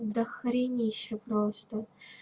до хренище просто